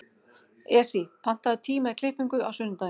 Esí, pantaðu tíma í klippingu á sunnudaginn.